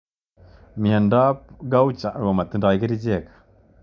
Miondop gaucher ko ma tindoi kerchek.